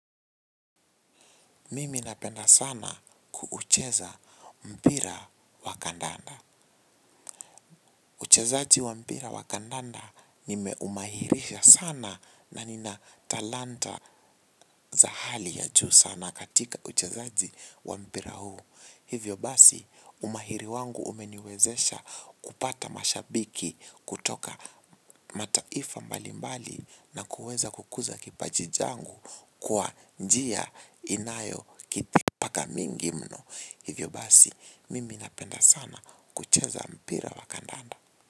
Mimi napenda sana kuucheza mpira wa kandanda. Uchezaaji wa mpira wa kandanda nimeumahirisha sana na nina talanta za hali ya juu sana katika uchezaaji wa mpira huu. Hivyo basi umahiri wangu umeniwezesha kupata mashabiki kutoka mataifa mbalimbali na kuweza kukuza kipaji changu kwa njia inayokitipaka mingi mno. Hivyo basi, mimi napenda sana kucheza mpira wa kandanda.